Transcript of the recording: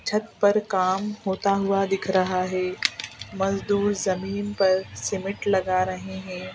छत पर काम होता हुआ दिख रहा है मजदूर जमीन पर सिमेंट लगा रहे है.